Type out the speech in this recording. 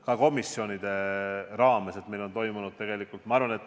Ka komisjonide raames on meil seda toimunud.